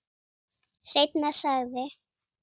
Seinna sagði